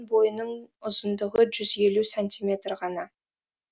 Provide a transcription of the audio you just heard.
бойының ұзындығы жүз елу сантиметр ғана